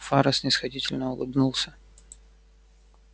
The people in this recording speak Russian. фара снисходительно улыбнулся